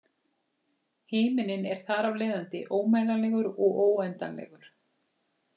Himinninn er þar af leiðandi ómælanlegur, óendanlegur.